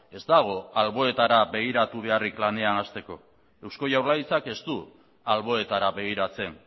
ez dago alboetara begiratu beharrik lanean hasteko eusko jaurlaritzak ez du alboetara begiratzen